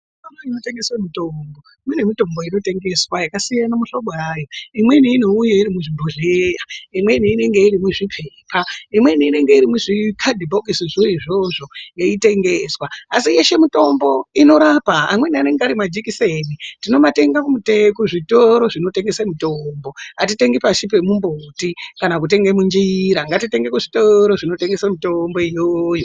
Zvitoro zvinotengese mutombo mune mitombo inotengeswa yakasiyana mihlobo yayo. Imweni inouye iri muzvibhohlyea, imweni inenge iri muzvipepa, imweni inenge iri muzvikadhibhokisizvo izvozvo yeitengeswa. Asi yeshe mutombo, inorapa, amaweni anenge ari majikiseni. Tinomatenga kuzvitoro zvinotengese mutombo. Hatitengi pashi pemumbuti kana kutenge munjira. Ngatitenge mitombo kuzvitoro zvinotengese mitombo iyoyo.